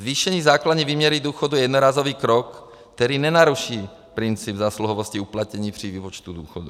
Zvýšení základní výměry důchodu je jednorázový krok, který nenaruší princip zásluhovosti uplatněný při výpočtu důchodu.